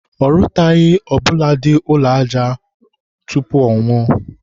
ọ rụtaghị ọbụladị ụlọ aja ụrọ tupu ọnwụọ